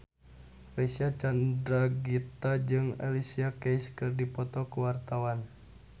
Reysa Chandragitta jeung Alicia Keys keur dipoto ku wartawan